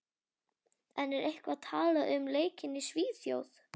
En er eitthvað talað um leikinn í Svíþjóð?